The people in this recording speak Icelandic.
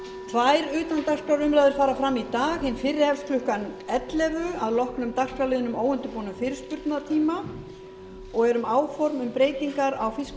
tvær utandagskrárumræður fara fram í dag hin fyrri hefst klukkan ellefu að loknum dagskrárliðnum óundirbúinn fyrirspurnatími og er um áform um breytingar á